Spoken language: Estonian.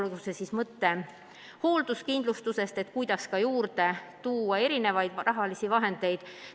Toon näiteks mõtte hoolduskindlustusest, et juurde tuua erinevaid rahalisi vahendeid.